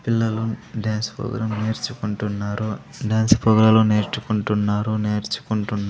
పిల్లలు dance programme నేర్చుకుంటున్నారు dance ప్రోగ్రాలు నేర్చుకుంటున్నారు నేర్చుకుంటున్.